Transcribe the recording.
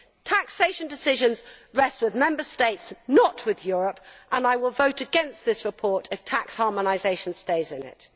Taxation decisions rest with Member States, not with Europe, and I will vote against this report if tax harmonisation stays in